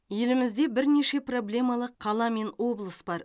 елімізде бірнеше проблемалық қала мен облыс бар